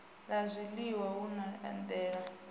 la zwiliwa na u edela